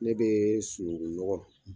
Ne bɛ sunungun nɔgɔ